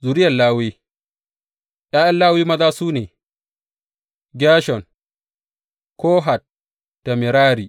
Zuriyar Lawi ’Ya’yan Lawi maza su ne, Gershon, Kohat da Merari.